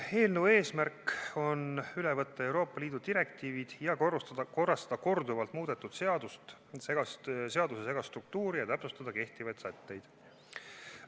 Eelnõu eesmärk on üle võtta Euroopa Liidu direktiivid ja korrastada korduvalt muudetud seaduse segast struktuuri ja täpsustada kehtivaid sätteid.